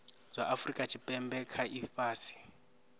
zwa afurika tshipembe kha ifhasi